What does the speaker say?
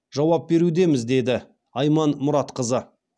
жауап берудеміз деді айман мұратқызы